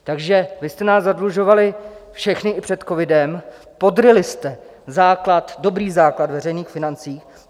Takže vy jste nás zadlužovali všechny i před covidem, podryli jste dobrý základ veřejných financí.